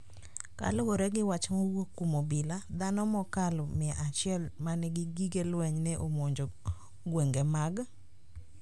Kaluwore gi wach mowuok kuom obila, dhano mokalo mia achiel ma nigi gige lweny ne omonjo gwenge mag